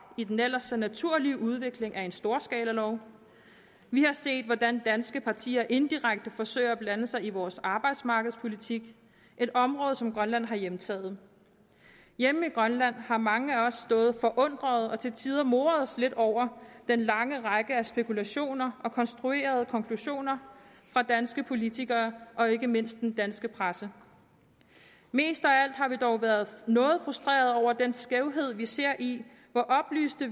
i den ellers så naturlige udvikling af en storskalalov vi har set hvordan danske partier indirekte forsøger at blande sig i vores arbejdsmarkedspolitik et område som grønland har hjemtaget hjemme i grønland har mange af os stået forundrede og til tider moret os lidt over den lange række af spekulationer og konstruerede konklusioner fra danske politikere og ikke mindst fra den danske presse mest af alt har vi dog været noget frustrerede over den skævhed vi ser i hvor oplyste